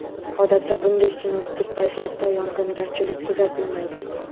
Odatda, bunday sinoptik vaziyatda yog‘ingarchilik kuzatilmaydi.